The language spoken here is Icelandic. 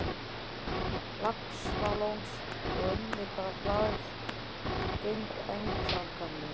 Laxalóns og unnu hvað harðast gegn einkaframtaki mínu.